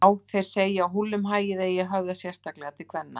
Já, þeir segja að húllumhæið eigi að höfða sérstaklega til kvenna.